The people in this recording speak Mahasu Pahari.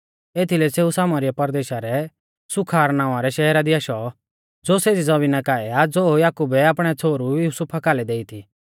एथीलै सेऊ सामरीया परदेशा रै सूखार नावां रै शहरा दी आशौ ज़ो सेज़ी ज़मीना काऐ आ ज़ो याकुबै आपणै छ़ोहरु युसुफा कालै देई थी